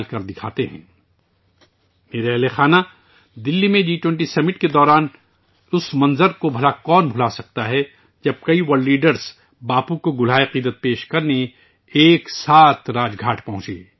میرے پیارے اہلِ خانہ ، دہلی میں جی 20 سمٹ کے اس منظر کو کون بھول سکتا ہے، جب کئی عالمی رہ نما باپو کو خراج عقیدت پیش کرنے کے لیے اکٹھے ہوئے تھے